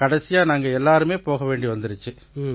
கடைசியா நாங்க எல்லாருமே போக வேண்டி வந்திச்சு